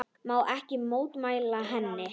Má ekki mótmæla henni.